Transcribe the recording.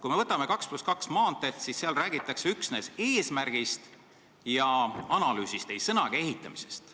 Kui me võtame teema "2 + 2 maanteed", siis leppes räägitakse üksnes eesmärgist ja analüüsist, ei sõnagi ehitamisest.